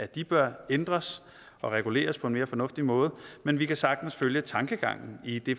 de bør ændres og reguleres på en mere fornuftig måde men vi kan sagtens følge tankegangen i det